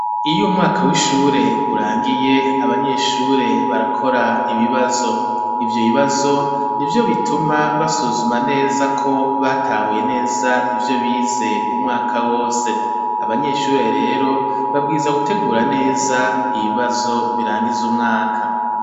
Iyo umwaka w'ishure urangiye abanyeshure barakora ibibazo ivyo bibazo nivyo bituma basuzuma neza ko batahuye neza ivyo bize umwaka wose abanyeshuri rero babwizwa gutegura neza ibibazo birangiza umwaka.